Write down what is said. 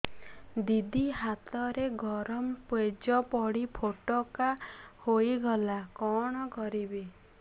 ଦିଦି ହାତରେ ଗରମ ପେଜ ପଡି ଫୋଟକା ହୋଇଗଲା କଣ କରିବି